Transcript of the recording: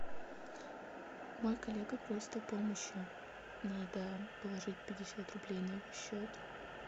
мой коллега просит о помощи надо положить пятьдесят рублей на его счет